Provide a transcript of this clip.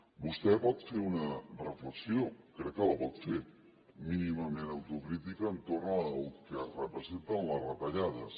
vostè pot fer una reflexió crec que la pot fer mínimament autocrítica entorn del que representen les retallades